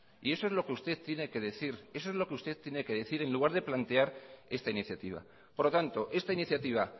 y eso es lo que usted tiene que decir en lugar de plantear esta iniciativa por lo tanto esta iniciativa